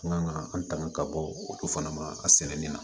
An kan ka an tanga ka bɔ o du fana ma a sɛnɛni na